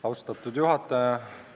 Austatud juhataja!